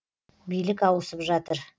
билік ауысып жатыр